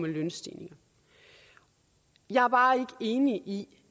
lønstigninger jeg er bare ikke enig i